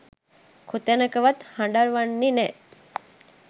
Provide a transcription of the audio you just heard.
කොතැනකවත් හඬවන්නේ නෑ.